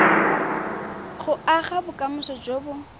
go aga bokamoso jo bo